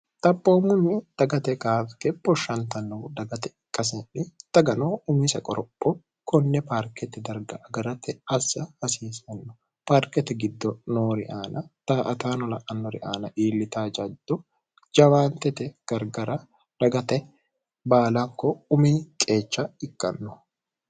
xaphoommunni dagate kaafike boshshantannoh dagate ikkaseenni dagano umise qoropho kunne paarketi darga agarate assa hasiisanno paarketi giddo noori aana taa ataano la'annori aana iillitaajaddo jawaantete gargara dagate baalanko umi qeecha ikkanno